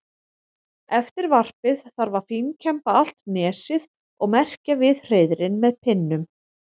Eftir varpið þarf að fínkemba allt nesið og merkja við hreiðrin með pinnum.